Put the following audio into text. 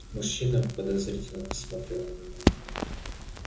мужчина подозрительно посмотрел на меня